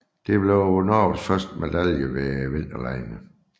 Det blev Norges første medalje ved vinterlegene